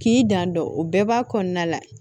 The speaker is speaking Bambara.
K'i janto o bɛɛ b'a kɔnɔna la